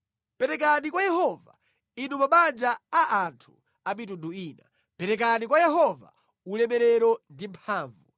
Perekani kwa Yehova, Inu mabanja a anthu a mitundu ina, perekani kwa Yehova ulemerero ndi mphamvu,